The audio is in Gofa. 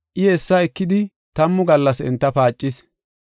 I, hessa ekidi tammu gallas enta paacis.